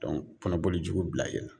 kɔnɔboli jugu bila e la.